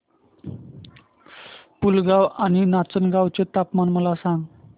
पुलगांव आणि नाचनगांव चे तापमान मला सांग